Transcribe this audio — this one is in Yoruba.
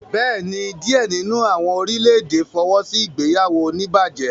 Bẹẹni, diẹ nínú awọn orilẹ-ède fọwọsi ìgbéyàwó onibaje?